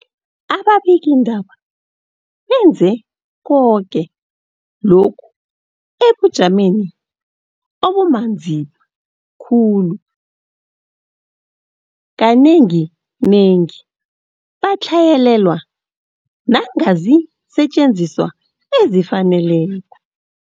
Ababikiindaba benze koke lokhu ebujameni obumanzima khulu, kanenginengi batlhayelelwa nangaziinsetjenziswa ezifaneleko.